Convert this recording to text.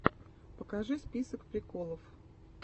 покажи список приколов